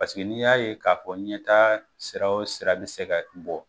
Paseke n'i y'a ye k'a fɔ ɲɛtaa sira o sira bɛ se ka bɔ